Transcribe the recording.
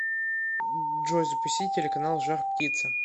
джой запусти телеканал жар птица